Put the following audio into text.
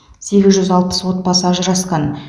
сегіз жүз алпыс отбасы ажырасқан